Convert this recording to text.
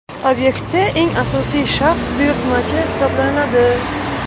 Obyektda eng asosiy shaxs buyurtmachi hisoblanadi.